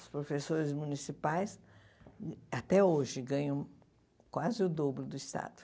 Os professores municipais, até hoje, ganham quase o dobro do Estado.